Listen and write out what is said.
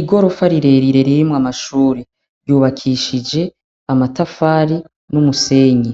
Igorofa rirerire ririmwo amashuri ryubakishije amatafari n'umusenyi